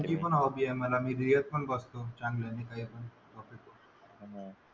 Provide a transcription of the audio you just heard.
,.